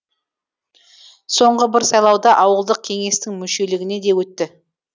соңғы бір сайлауда ауылдық кеңестің мүшелігіне де өтті